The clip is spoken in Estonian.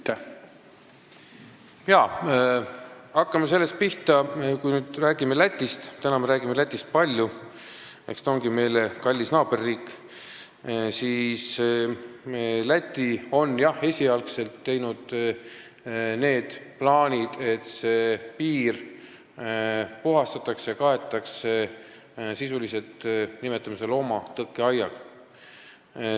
Hakkame pihta sellest, et kui me nüüd räägime Lätist – täna me räägime Lätist palju, aga eks ta olegi meile kallis naaberriik –, siis Läti on jah esialgu teinud plaanid, et piir puhastatakse ja kaetakse sellise asjaga, mida me sisuliselt nimetame loomatõkkeaiaks.